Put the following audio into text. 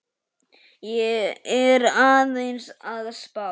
Ég er aðeins að spá.